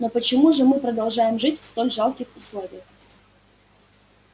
но почему же мы продолжаем жить в столь жалких условиях